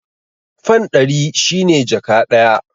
Fan ɗari shi ne jaka ɗaya.